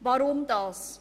Weshalb dies?